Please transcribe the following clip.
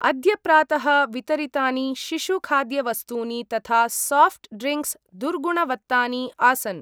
अद्य प्रातः वितरितानि शिशु खाद्यवस्तूनि तथा साफ्ट् ड्रिंक्स् दुर्गुणवत्तानि आसन्।